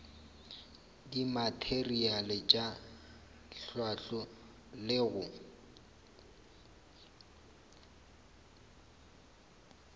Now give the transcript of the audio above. dimateriale tša hlahlo le go